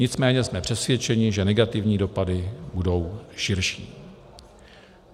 Nicméně jsme přesvědčeni, že negativní dopady budou širší.